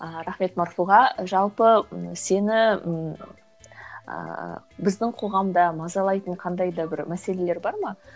рахмет марфуға жалпы ы сені ыыы біздің қоғамда мазалайтын қандай да бір мәселелер бар ма